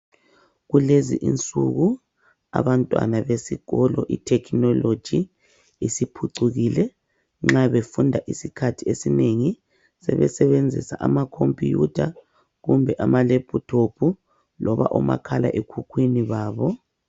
Kulezi insuku abantwana besikolo I technology isiphucukile nxa befunda isikhathiesinengi sebesebenzisa I laptop loba omakhalekhukhwini babo.